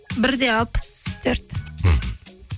бір де алпыс төрт мхм